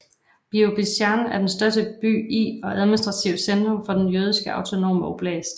Birobidzjan er den største by i og administrativt centrum for den Jødiske autonome oblast